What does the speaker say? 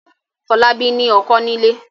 Fọlábí ní ọkọ́ nílé.